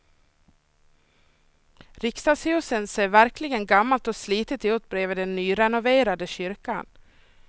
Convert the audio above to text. Riksdagshuset ser verkligen gammalt och slitet ut bredvid den nyrenoverade kyrkan.